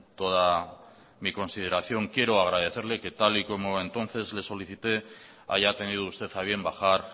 toda mi consideración quiero agradecerle que tal y como entonces le solicite haya tenido usted a bien bajar